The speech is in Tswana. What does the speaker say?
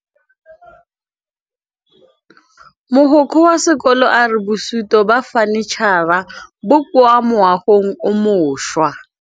Mogokgo wa sekolo a re bosutô ba fanitšhara bo kwa moagong o mošwa.